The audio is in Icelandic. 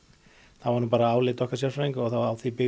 það var álit okkar sérfræðinga og á því byggir